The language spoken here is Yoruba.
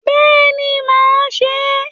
Bẹ́ẹ̀ni mà á se é